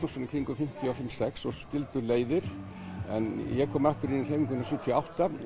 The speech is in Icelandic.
um fimmtíu og fimm sex svo skildu leiðir en ég kom aftur inn í hreyfinguna sjötíu og átta